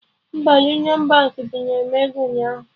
Mba, Union Baankị binyere m ego ụnyaahụ